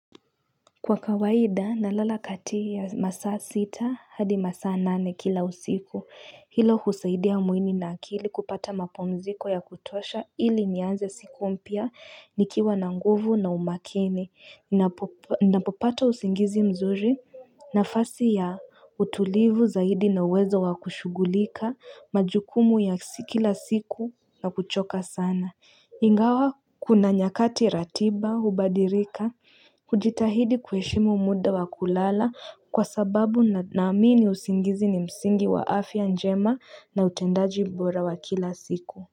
Kwa kawaida nalala kati ya masaa sita hadi masaa nane kila usiku. Hilo husaidia mwili na akili kupata mapumziko yakutosha ili nianze siku mpya nikiwa na nguvu na umakini napopata usingizi mzuri nafasi ya utulivu zaidi na uwezo wa kushughulika majukumu ya kila siku na kuchoka sana Ingawa kuna nyakati ratiba hubadirika kujitahidi kuheshimu muda wa kulala kwa sababu naamini usingizi ni msingi wa afya njema na utendaji bora wa kila siku.